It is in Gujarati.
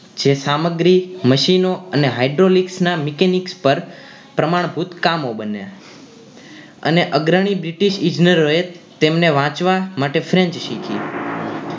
જે સામગ્રી machine ઓ અને hydraulic ના mechanics પર પ્રમાણભૂત કામો બન્યા અને અગ્રણી british ઈજનરોએ તેમને વાંચવા માટે french શીખી